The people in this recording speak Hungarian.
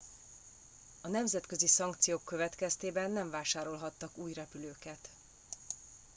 a nemzetközi szankciók következtében nem vásárolhattak új repülőket